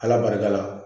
Ala barika la